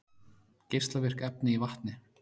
Geislavirk efni í vatni